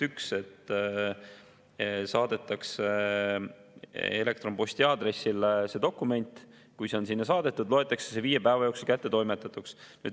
Üks, et saadetakse dokument elektronposti aadressile ja kui see on sinna saadetud, loetakse see viie päeva jooksul kättetoimetatuks.